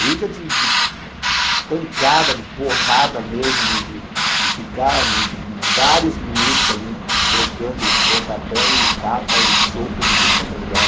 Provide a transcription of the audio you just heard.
Briga de de pancada, de porrada mesmo, de de de ficar vários minutos ali trocando pontapé e tapa e soco de tudo quanto é lugar.